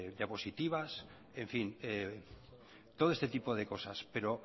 diapositivas en fin todo este tipo de cosas pero